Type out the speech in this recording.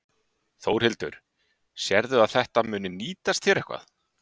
Þórhildur: Sérðu að þetta muni nýtast þér eitthvað?